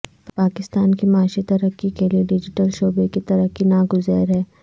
پاکستان کی معاشی ترقی کیلئے ڈیجیٹل شعبے کی ترقی ناگزیر ہے